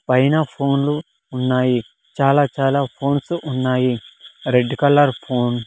పైన ఫోన్లు ఉన్నాయి చాలా చాలా ఫోన్స్ ఉన్నాయి రెడ్ కలర్ ఫోన్ --